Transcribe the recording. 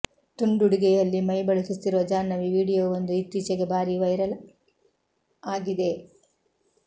ತುಂಡುಡುಗೆಯಲ್ಲಿ ಮೈ ಬಳುಕಿಸುತ್ತಿರುವ ಜಾಹ್ನವಿ ವಿಡಿಯೋವೊಂದು ಇತ್ತೀಚೆಗೆ ಭಾರೀ ವೈರಲ್ ಆಗಿದೆ